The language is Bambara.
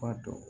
Ba dɔn